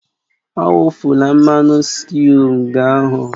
Awufula mmanụ sịtịụ nga ahụ!